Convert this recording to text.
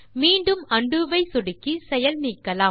மீண்டும் உண்டோ ஐ சொடுக்கி செயல்நீக்கலாம்